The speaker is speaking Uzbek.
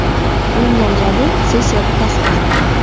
Uning nomzodi sessiyada tasdiqlandi.